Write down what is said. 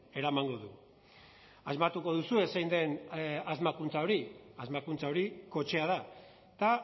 eramango du asmatuko duzue zein den asmakuntza hori asmakuntza hori kotxea da eta